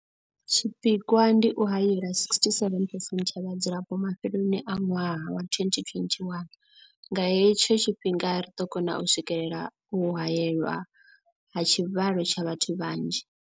Tshipikwa ndi u haela 67 percent ya vhadzulapo mafheloni a ṅwaha wa 2021. Nga he tsho tshifhinga ri ḓo kona u swikelela u haelwa ha tshivhalo tsha vhathu vhanzhi.